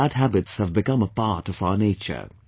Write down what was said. These bad habits have become a part of our nature